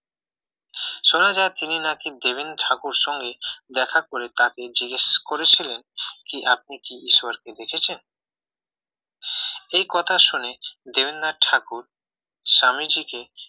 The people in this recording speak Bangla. শোনা যায় তিনি নাকি দেবেন্দ্র ঠাকুরের সঙ্গে দেখা করে তাকে জিজ্ঞেস করেছিলেন কি আপনি কি ঈশ্বরকে দেখেছেন এই কথা শুনে দেবেন্দ্রনাথ ঠাকুর স্বামীজিকে